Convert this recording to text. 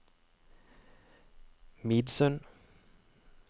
Midsund